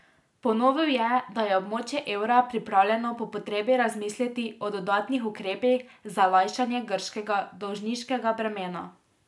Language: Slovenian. Ponovil je, da je območje evra pripravljeno po potrebi razmisliti o dodatnih ukrepih za lajšanje grškega dolžniškega bremena.